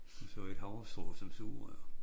Og så et havrestrå som sugerør